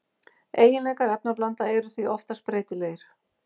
Eiginleikar efnablanda eru því oftast breytilegir.